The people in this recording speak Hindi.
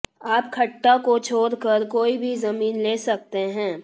आप खट्टा को छोड़कर कोई भी जमीन ले सकते हैं